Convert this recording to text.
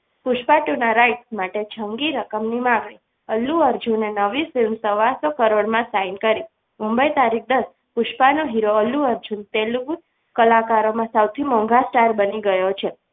Pushpa two ના right માટે જંગી રકમની માગણી અલ્લુ અર્જુન ની નવી film સવાસો કરોડમાં sign કરી મુંબઈ તારીખ દસ પુષ્પા નો હીરો અલ્લુ અર્જુન તેલુગુ કલાકારોમાં સૌથી મોંઘા star બની ગયો છે.